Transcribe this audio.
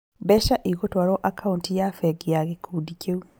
Mbeca igũtwarwo akaunti ya bengi ya gĩkundi kĩu